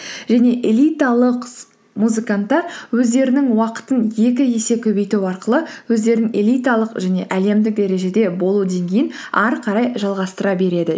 және элиталық музыканттар өздерінің уақытын екі есе көбейту арқылы өздерін элиталық және әлемдік дәрежеде болу деңгейін әрі қарай жалғастыра береді